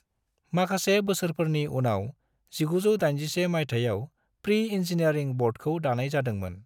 माखासे बोसोरफोरनि उनाव 1981 मायथायाव प्री इन्जीनियारिं बर्डखौ दानाय जादोंमोन।